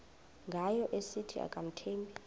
ngayo esithi akamthembi